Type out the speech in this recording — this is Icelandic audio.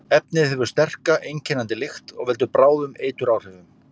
Efnið hefur sterka, einkennandi lykt og veldur bráðum eituráhrifum.